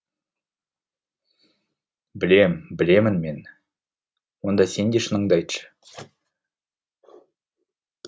білем білемін мен онда сен де шыныңды айтшы